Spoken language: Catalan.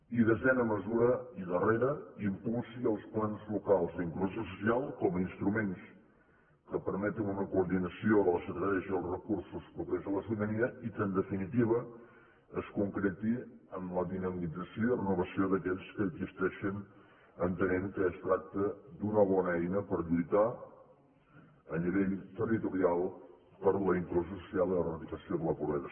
i desena mesura i darrera impulsi els plans locals d’inclusió social com a instruments que permetin una coordinació de les estratègies i els recursos propers a la ciutadania i que en definitiva es concreti en la dinamització i renovació d’aquells que existeixen entenent que es tracta d’una bona eina per lluitar a nivell territorial per la inclusió social i l’eradicació de la pobresa